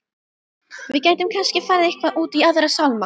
Við gætum kannski farið eitthvað út í Aðra sálma.